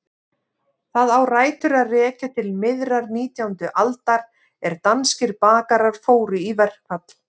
Það á rætur að rekja til miðrar nítjándu aldar er danskir bakarar fóru í verkfall.